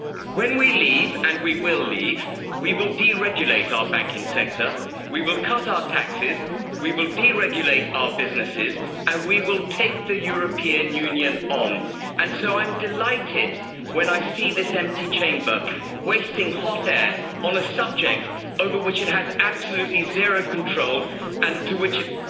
When we leave and we will leave we will deregulate our banking sector, we will cut our taxes, we will deregulate our businesses and we will take the European Union on. And so I'm delighted when I see this empty Chamber wasting hot air on a subject over which it has absolutely zero control and to which it